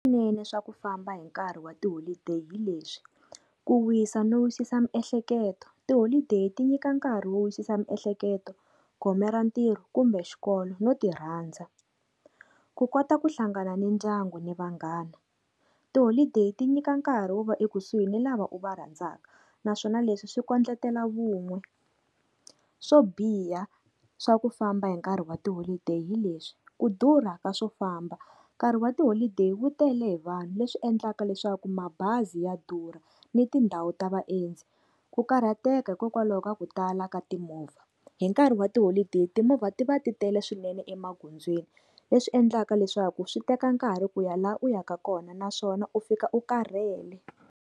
Vunene swa ku famba hi nkarhi wa tiholideyi hi leswi, ku wisa no wisisa miehleketo, tiholideyi ti nyika nkarhi wo wisisa miehleketo, gome ra ntirho kumbe xikolo no ti rhandza. Ku kota ku hlangana ni ndyangu ni vanghana, tiholideyi ti nyika nkarhi wo va ekusuhi ni lava u va rhandzaka, naswona leswi swi kondletela vun'we. Swo biha swa ku famba hi nkarhi wa tiholideyi hi leswi, ku durha ka swo famba nkarhi wa tiholideyi wu tele hi vanhu, leswi endlaka leswaku mabazi ya durha ni tindhawu ta vaendzi. Ku karhateka hikokwalaho ka ku tala ka timovha, hi nkarhi wa tiholideyi timovha ti va ti tele swinene emagondzweni leswi endlaka leswaku swi teka nkarhi ku ya laha u yaka kona naswona u fika u karhele.